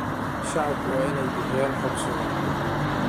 Shacabku waa inay bixiyaan xog sugan.